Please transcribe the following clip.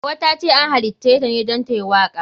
Hauwa tace an halitaceta ne don tayi waka.